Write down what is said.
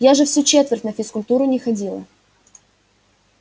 я же всю четверть на физкультуру не ходила